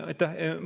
Aitäh!